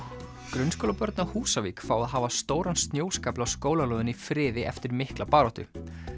grunnskólabörn á Húsavík fá að hafa stóran snjóskafl á skólalóðinni í friði eftir mikla baráttu